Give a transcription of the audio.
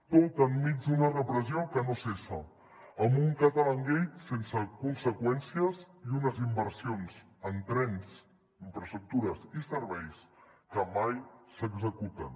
tot enmig d’una repressió que no cessa amb un catalangate sense conseqüències i unes inversions en trens infraestructures i serveis que mai s’executen